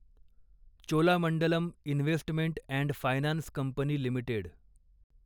Cholamandalam investment and finance company limited